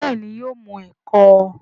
béèni yóò mu eko.